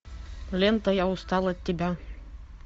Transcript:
лента я устал от тебя